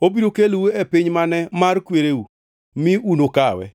Obiro kelou e piny mane mar kwereu, mi unukawe.